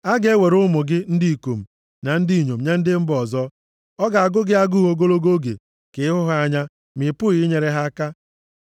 A ga-ewere ụmụ gị ndị ikom na ndị inyom nye ndị mba ọzọ. Ọ ga-agụ gị agụụ ogologo oge ka ị hụ ha anya, ma ị pụghị inyere ha aka.